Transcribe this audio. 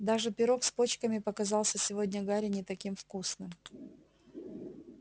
даже пирог с почками показался сегодня гарри не таким вкусным